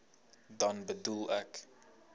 dan bedoel ek